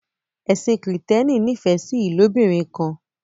Ẹsìn kristiani n'ifẹ sí ilobirin kan